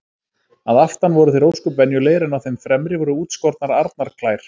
Að aftan voru þeir ósköp venjulegir en á þeim fremri voru útskornar arnarklær.